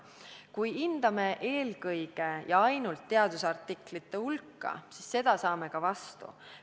Kui hindame eelkõige ja ainult teadusartiklite hulka, siis neid saame ka vastu.